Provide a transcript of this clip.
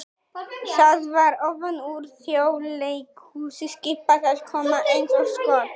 það var ofan úr Þjóðleikhúsi skipað að koma eins og skot!